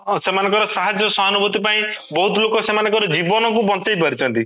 ହଁ ସେମାନଙ୍କର ସାହାଯ୍ୟ ସହାନୁଭୂତି ପାଇଁ ବହୁତ ଲୋକ ଜୀବନ କୁ ବଞ୍ଚେଇପାରିଛି